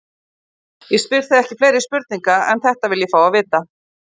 Ég spyr þig ekki fleiri spurninga, en þetta vil ég fá að vita.